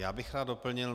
Já bych rád doplnil.